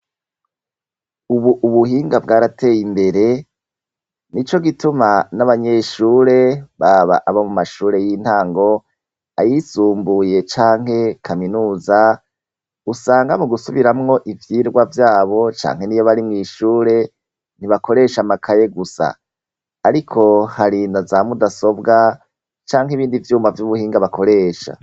Ubu ubuhinga bwarateye imbere nico gituma n'abanyeshure baba aba mu mashure y'intango, ayisumbuye canke kaminuza usanga mu gusubiramwo ivyirwa vyabo canke niyo bari mwishure ntibakoresha amakaye gusa ariko hari naza mudasobwa canke ibindi vyuma vyubuhinga bakoresha.